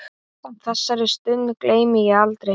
Þessari stund gleymi ég aldrei.